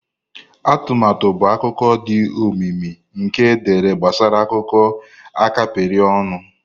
Atụmatụ bụ akụkọ dị omimi nke dere gbasara akụkọ a kapịrị ọnụ.